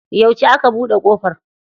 Yauce aka buɗe kofar?